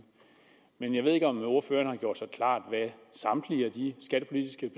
men jeg ved ikke om ordføreren har gjort sig klart hvad samtlige af de skattepolitiske